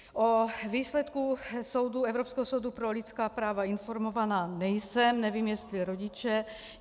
O výsledku Evropského soudu pro lidská práva informovaná nejsem, nevím, jestli rodiče.